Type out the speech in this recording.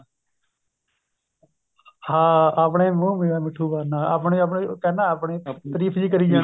ਹਾਂ ਆਪਣੇ ਮੂੰਹ ਮੀਆਂ ਮਿੱਠੂ ਬਨਣਾ ਆਪਣੀ ਆਪਣੀ ਕਹਿੰਦਾ ਆਪਣੀ ਤਰੀਫ਼ ਜਿਹੀ ਕਰੀ ਜਾਣੀ